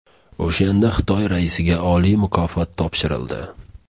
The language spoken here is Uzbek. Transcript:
O‘shanda Xitoy raisiga oliy mukofot topshirildi.